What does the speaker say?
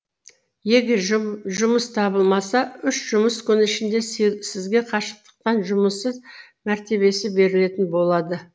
егер жұмыс табылмаса үш жұмыс күні ішінде сізге қашықтықтан жұмыссыз мәртебесі берілетін болады